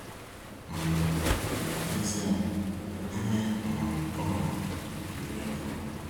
um N'ezịe, Ihe um o nwere juru ya afọ